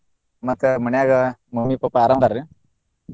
ಮತ್ತೆ ಮನ್ಯಾಗ mummy papa ಆರಾಮ್ ಇದ್ದಾರ್ರೀ?